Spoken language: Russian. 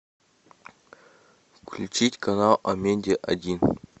включить канал амедия один